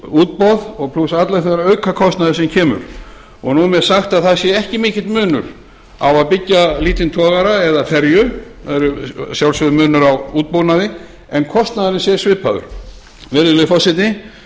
útboð plús allur sá aukakostnaður sem kemur nú er mér sagt að það sé ekki mikill munur á að byggja lítinn togara eða ferju það er að sjálfsögðu munur á útbúnaði en kostnaðurinn sé svipaður virðulegi forseti ég